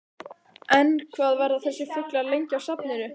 En, hvað verða þessir fuglar lengi á safninu?